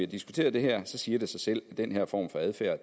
diskuteret det her så siger det sig selv at den her form for adfærd